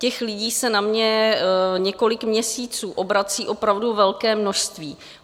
Těch lidí se na mě několik měsíců obrací opravdu velké množství.